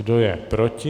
Kdo je proti?